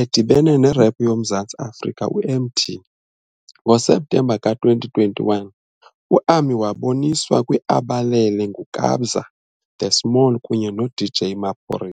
edibene nerap yoMzantsi Afrika u-Emtee. NgoSeptemba ka-2021, uAmi waboniswa kwi-"Abalele" nguKabza de Small kunye noDJ Maphori.